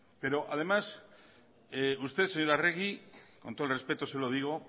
pero además usted señora arregi con todo el respeto se lo digo